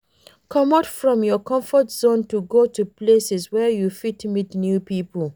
Comot from your comfort zone to go places where you fit meet new pipo